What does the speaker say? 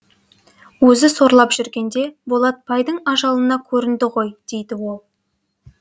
өзі сорлап жүргенде болатпайдың ажалына көрінді ғой дейді ол